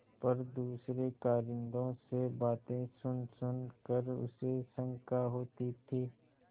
पर दूसरे कारिंदों से बातें सुनसुन कर उसे शंका होती थी